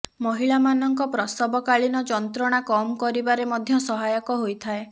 ମହିଳାମାନଙ୍କ ପ୍ରସବକାଳୀନ ଯନ୍ତ୍ରଣା କମ୍ କରିବାରେ ମଧ୍ୟ ସହାୟକ ହୋଇଥାଏ